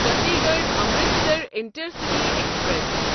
Chandigarh Amritsar intercity express